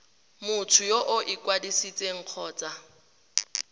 motho yo o ikwadisitseng kgotsa